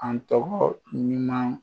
An ɔgɔ ɲuman